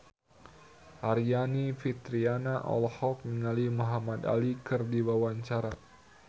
Aryani Fitriana olohok ningali Muhamad Ali keur diwawancara